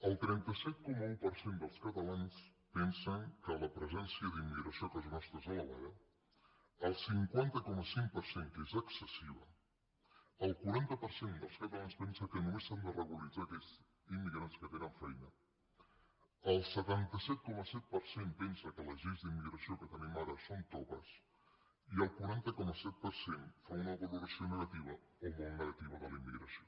el trenta set coma un per cent dels catalans pensen que la presència d’immigració a casa nostra és elevada el cinquanta coma cinc per cent que és excessiva el quaranta per cent dels catalans pensa que només s’han de regularitzar aquells immigrants que tenen feina el setanta set coma set per cent pensa que les lleis d’immigració que tenim ara són toves i el quaranta coma set per cent fa una valoració negativa o molt negativa de la immigració